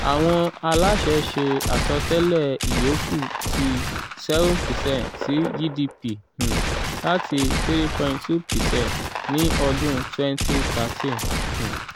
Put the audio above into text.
awọn alaṣẹ ṣe asọtẹlẹ iyokù ti 7 percent ti gdp um lati 3.2 percent ni ọdun 2013. um